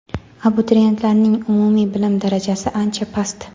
abituriyentlarning umumiy bilim darajasi ancha past.